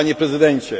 Panie Prezydencie!